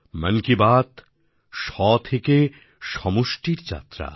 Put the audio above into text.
মন কি বাত স্ব থেকে সমষ্টির যাত্রা